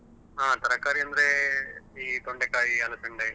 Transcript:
ಹಾ ತರಕಾರಿ ಅಂದ್ರೆ ಈ ತೊಂಡೆಕಾಯಿ ಅಲಸಂಡೆ.